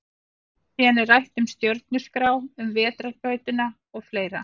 Síðan er rætt um stjörnuskrá, um vetrarbrautina og fleira.